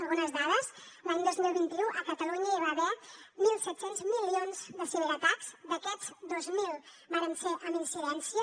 algunes dades l’any dos mil vint u a catalunya hi va haver mil set cents milions de ciberatacs d’aquests dos mil varen ser amb incidència